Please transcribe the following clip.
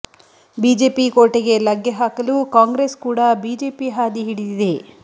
BJP ಕೋಟೆಗೆ ಲಗ್ಗೆ ಹಾಕಲು ಕಾಂಗ್ರೆಸ್ ಕೂಡ ಬಿಜೆಪಿ ಹಾದಿ ಹಿಡಿದಿದೆ